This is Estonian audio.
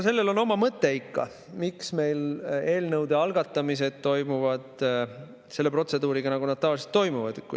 Sellel on oma mõte ikka, miks meil eelnõude algatamised toimuvad selle protseduuri kohaselt, nagu nad tavaliselt toimuvad.